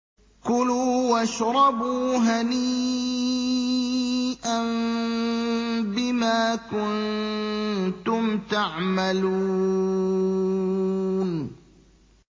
كُلُوا وَاشْرَبُوا هَنِيئًا بِمَا كُنتُمْ تَعْمَلُونَ